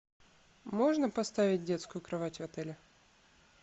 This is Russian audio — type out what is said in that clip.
можно поставить детскую кровать в отеле